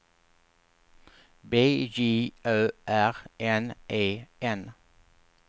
B J Ö R N E N